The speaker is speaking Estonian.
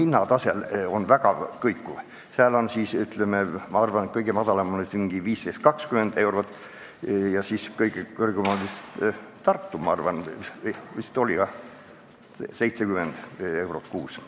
Ma arvan, et kõige väiksem summa on 15–20 eurot ja kõige suurem on vist Tartus, kus tuleb maksta vist 70 eurot kuus.